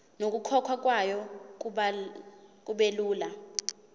nokukhokhwa kwayo kubelula